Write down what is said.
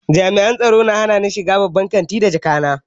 Jami'an tsaro ya hanani shiga babban kantin da jakata.